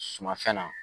Sumafɛn na